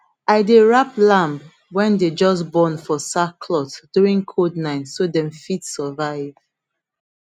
i dey wrap lamb wey dem just born for sackcloth during cold night so dem fit survive